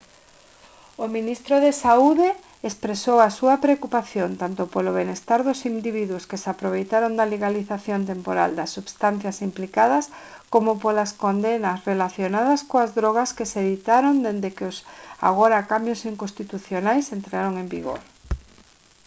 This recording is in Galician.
o ministro de saúde expresou a súa preocupación tanto polo benestar dos individuos que se aproveitaron da legalización temporal das substancias implicadas coma polas condenas relacionadas coas drogas que se ditaron desde que os agora cambios inconstitucionais entraron en vigor